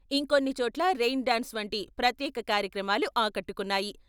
ఇంకొన్ని చోట్ల rain dance వంటి ప్రత్యేక కార్యక్రమాలు ఆకట్టుకున్నాయి.